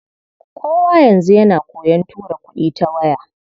Kowa yanzu yana koyon tura kuɗi ta waya.